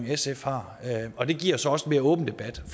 sf har og det giver så også en mere åben debat